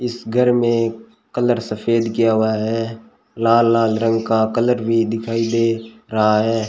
इस घर में कलर सफेद किया हुआ है लाल लाल रंग का कलर भी दिखाई दे रहा है।